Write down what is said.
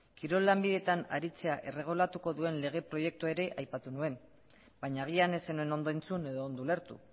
kirol lanbideetan aritzea erregulatuko duen lege proiektua ere aipatu nuen baina agian ez zenuen ondo entzun edo ondo ulertu